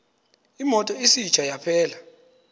imoto isitsha yaphela